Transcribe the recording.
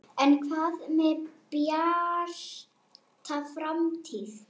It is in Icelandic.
En hvað með Bjarta framtíð?